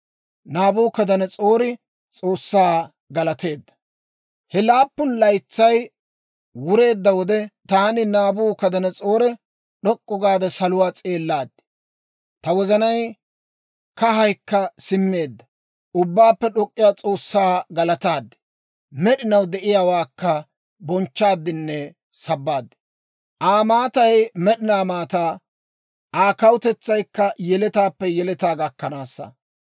He laappun laytsay wureedda wode, taani Naabukadanas'oore d'ok'k'u gaade saluwaa s'eellaad; ta wozanay kahaykka simmeedda. Ubbaappe d'ok'k'iyaa S'oossaa galataad; med'inaw de'iyaawaakka bonchchaaddinne sabbaad. Aa maatay med'inaa maataa; Aa kawutetsaykka yeletaappe yeletaa gakkanaasa.